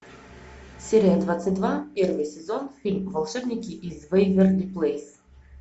серия двадцать два первый сезон фильм волшебники из вэйверли плэйс